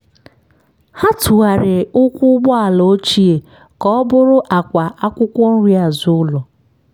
ha tụgharịrị ụkwụ ụgbọala ochie ka ọ bụrụ àkwà akwụkwọ nri azụ ụlọ.